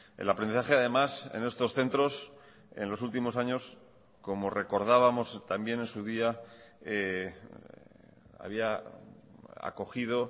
el aprendizaje además en estos centros en los últimos años como recordábamos también en su día había acogido